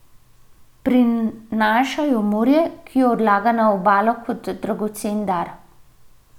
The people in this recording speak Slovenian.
Prinaša jo morje, ki jo odlaga na obalo kot dragocen dar.